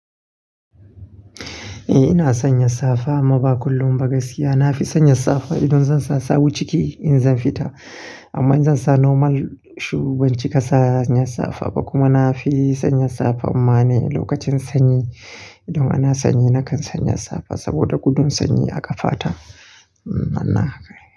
Eh ina sanya safa amma ba kullum ba gaskiya. Na fi sanya safa idan zan sa sawu ciki in zan fita amma in zan sa normal shoe banci ba kana sanya safa ba kuma na fi sanya safa mana lokacin sanyi. Idan ana sanyi nakan sanya safa saboda gudun sanyi a ƙafa ta. Haka ne.